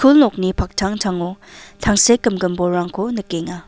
nokni paktangtango tangsekgimgim bolrangko nikenga.